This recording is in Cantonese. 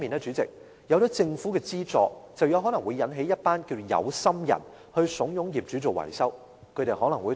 主席，另一方面，政府的資助也可能為一群"有心人"利用，遊說業主進行大型維修。